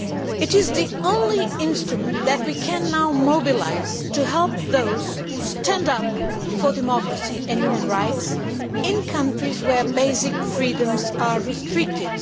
It is the only instrument that we can now mobilise to help those who stand up for democracy and human rights in countries where basic freedoms are restricted.